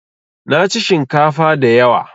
Naci shinkafa da yawa